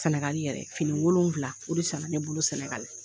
Sɛnɛgali yɛrɛ, fini wolonfila o de san na, ne bolo Sɛnɛgali.